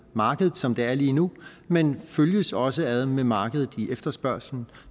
markedet som det er lige nu men følges også ad med markedet i efterspørgslen